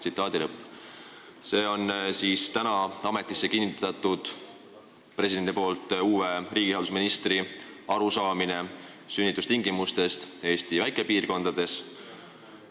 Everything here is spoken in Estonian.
" See on täna presidendi poolt ametisse kinnitatud uue riigihalduse ministri arusaam sünnitustingimustest Eesti väikekohtades.